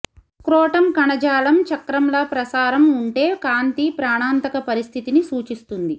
scrotum కణజాలం చక్రంలా ప్రసారం ఉంటే కాంతి ప్రాణాంతక పరిస్థితిని సూచిస్తుంది